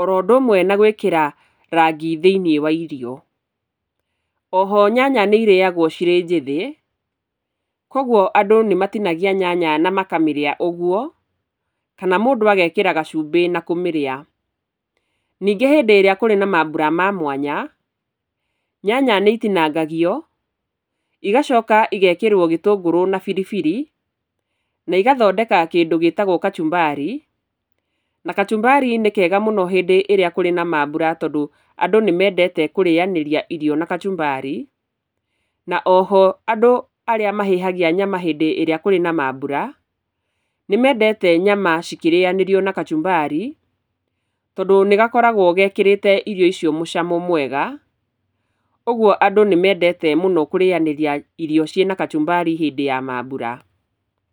oro ũndũ ũmwe na gũĩkĩra rangi thĩ-inĩ wa irio, oho nyanya nĩirĩagwo cirĩ njĩthĩ koguo andũ nĩmatinagia nyanya na makamĩrĩa ũguo, kana mũndũ agekĩra gacumbĩ na kũmĩrĩa. Ningĩ hĩndĩ ĩrĩa kũrĩ na mambura ma mwanya nyanya nĩitinangagio igacoka igekĩrwo gĩtũngũrũ na biribiri na igathondeka kĩndũ gĩtagwo kachumbari, na kachumbari nĩkega mũno hĩndĩ ĩrĩa kũrĩ na mambura tondũ andũ nĩmendete kũrĩanĩria irio na kachumbari, na oho andũ arĩa mahĩhagia nyama hĩndĩ ĩrĩa kũrĩ na mambura, nĩmendete nyama cikĩrĩanĩrio na kachumbari tondũ nĩgakoragwo gekĩrĩte irio icio mũcamo mwega, koguo andũ nĩmendete mũno kũrĩanĩria irio ciĩna kachũmbari hĩndĩ ya mambura.